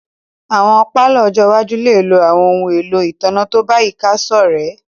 Awọn palọ ọ́jọ iwaju le lo awọn ohun elo itanna to bayika sorẹ̀